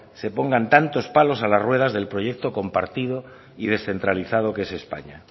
se pongan tantos palos a las ruedas del proyecto compartido y descentralizado que es españa